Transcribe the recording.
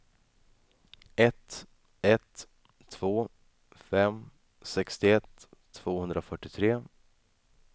ett ett två fem sextioett tvåhundrafyrtiotre